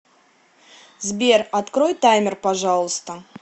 сбер открой таймер пожалуйста